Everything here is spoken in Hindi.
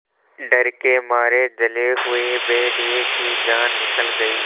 डर के मारे जले हुए भेड़िए की जान निकल गई